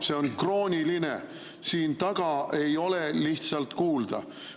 See on krooniline, siin taga ei ole lihtsalt kuulda.